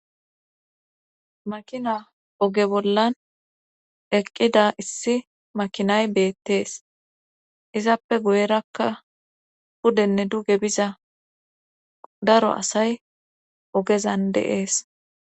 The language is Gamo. Makina oge bollan eqqida issi makinay beettees izappe goyerakka pudenne duge biza daro asay ogezan deees